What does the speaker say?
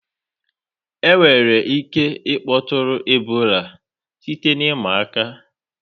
Enwere ike ịkpọtụrụ Ebola site na ịma aka.